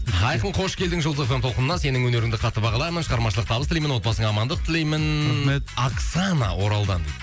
айқын қош келдің жұлдыз эф эм толқынына сенің өнеріңді қатты бағалаймын шығармашылық табыс тілеймін отбасыңа амандық тілеймін рахмет оксана оралдан дейді